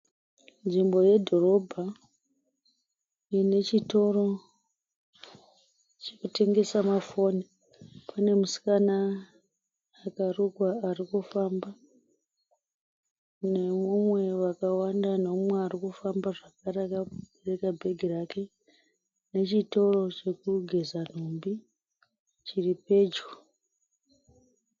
Nzvimbo yedhorobha ine chitoro chekutengesa mafoni. Pane musikana akarukwa ari kufamba nemumwe vakawanda, neumwe arikufamba zvakare akabereka bhegi rake, nechitoro chekugeza nhumbi chiripedyo.